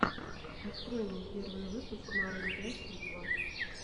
открой мне первый выпуск марун пять виво